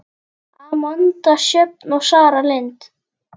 Amanda Sjöfn og Sara Lind.